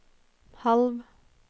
halv